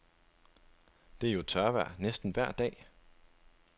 Det er jo tørvejr næsten vejr dag.